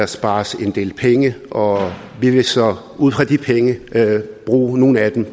sparet en del penge og vi vil så bruge nogle af de